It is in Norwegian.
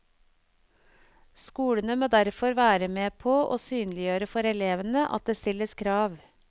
Skolene må derfor være med på å synliggjøre for elevene at det stilles krav.